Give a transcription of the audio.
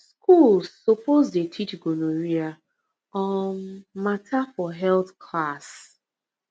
schools suppose dey teach gonorrhea um matter for health class